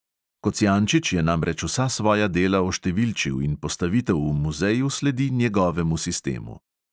Kocijančič je namreč vsa svoja dela oštevilčil in postavitev v muzeju sledi njegovemu sistemu.